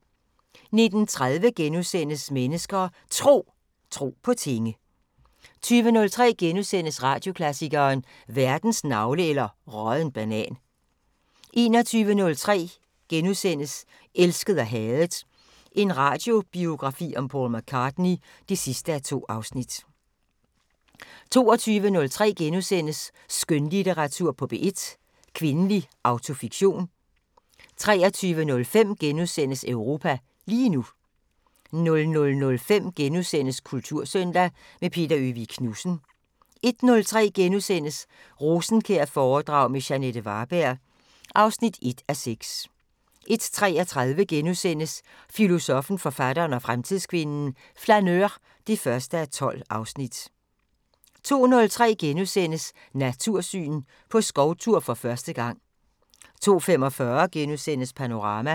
19:30: Mennesker og Tro: Tro på tinge * 20:03: Radioklassikeren: Verdens navle eller rådden banan * 21:03: Elsket og hadet – en radiobiografi om Paul McCartney (2:2)* 22:03: Skønlitteratur på P1: Kvindelig autofiktion * 23:05: Europa lige nu * 00:05: Kultursøndag – med Peter Øvig Knudsen * 01:03: Rosenkjær-foredrag med Jeanette Varberg (1:6)* 01:33: Filosoffen, forfatteren og fremtidskvinden: Flaneur (1:12)* 02:03: Natursyn: På skovtur for første gang * 02:45: Panorama *